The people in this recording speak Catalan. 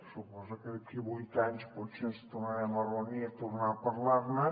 suposo que d’aquí a vuit anys potser ens tornarem a reunir a tornar a parlar ne